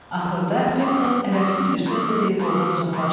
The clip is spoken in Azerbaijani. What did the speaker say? Axırda Peçoldt ədəbsiz bir söz də deyib ordan uzaqlaşdı.